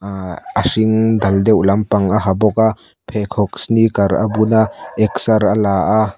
aaa a hring dal deuh lampang a ha bawk a pheikhawk sneaker a bun a exer a la a.